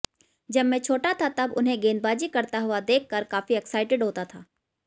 जब मैं छोटा था तब उन्हें गेंदबाजी करता हुआ देखकर काफी एक्साइटेड होता था